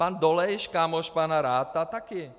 Pan Dolejš, kámoš pana Ratha, také.